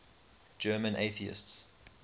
german atheists